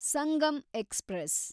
Sangam express